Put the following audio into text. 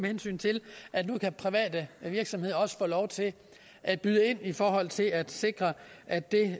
hensyn til at nu kan private virksomheder også få lov til at byde ind i forhold til at sikre at det